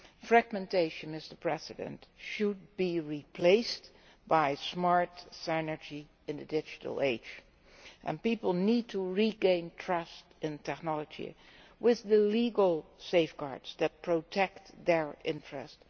Fragmentation, Mr President, should be replaced by smart synergy in the digital age, and people need to regain trust in technology with the legal safeguards that protect their interests.